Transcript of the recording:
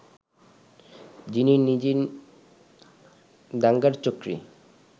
যিনি নিজে দাঙ্গার চক্রী